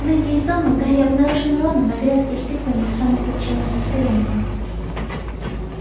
выйдя из дома гарри обнаружил рона на грядке с тыквами в самом плачевном состоянии